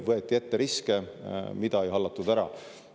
Võeti ette riske, mida ei hallatud ära.